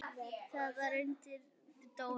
Það var vegna Önnu Dóru.